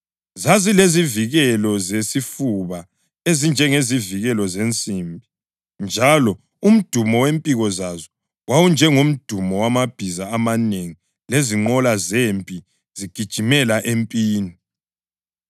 Zazilezivikelo zesifuba ezinjengezivikelo zensimbi njalo umdumo wempiko zazo wawunjengomdumo wamabhiza amanengi lezinqola zempi zigijimela empini.